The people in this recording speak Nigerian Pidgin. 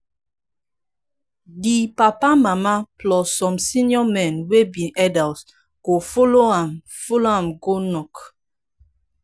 di papa mama plus some senior men wey be elders go follow am follow am go knock